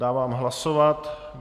Dávám hlasovat.